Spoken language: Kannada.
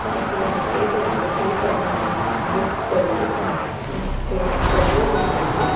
ಮತ್ತು ಒಂದು ಟೇಬಲ್ ಇದೆ ಟೇಬಲ್ ನಲ್ಲಿ ಬುಕ್ಸ್ ಗಳಿವೆ ಮತ್ತೆ ಕಬೋರ್ಡ್ ಇದೆ ಇಲ್ಲಿ.